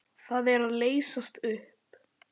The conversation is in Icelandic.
Það er að leysast upp.